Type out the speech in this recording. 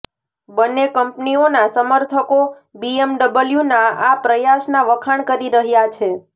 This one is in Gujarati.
બંને કંપનીઓના સમર્થકો બીએમડબલ્યુના આ પ્રયાસના વખાણ કરી રહ્યા છે